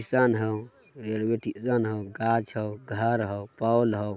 किसान हउ हउ रेलवे स्टेशन हउ घाच हउ घर हउ पोल हउ।